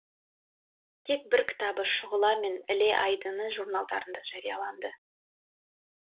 тек бір кітабы шұғыла мен іле айдыны журналдарында жарияланды